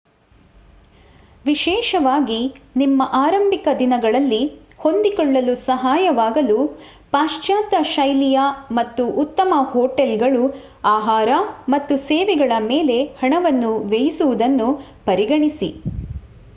ವಿಶೇಷವಾಗಿ ನಿಮ್ಮ ಆರಂಭಿಕ ದಿನಗಳಲ್ಲಿ ಹೊಂದಿಕೊಳ್ಳಲು ಸಹಾಯವಾಗಲು ಪಾಶ್ಚಾತ್ಯ ಶೈಲಿಯ ಮತ್ತು -ಉತ್ತಮ ಹೋಟೆಲ್‌ಗಳು ಆಹಾರ ಮತ್ತು ಸೇವೆಗಳ ಮೇಲೆ ಹಣವನ್ನು ವ್ಯಯಿಸುವುದನ್ನು ಪರಿಗಣಿಸಿ